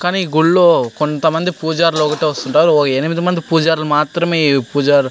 కానీ గుడిలో కొంతమంది పూజారులు ఒక్కటే వస్తుంటారు ఒక ఎనమిది మంది పూజారులు మాత్రమే పూజ --